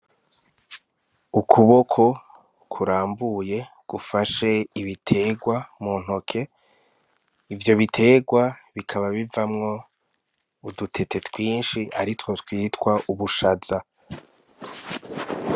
Ukuboko kurambuye gufashe ibiterwa muntoke, ivyo biterwa bikaba bivamwo udutete twinshi aritwo twitwa ubushaza.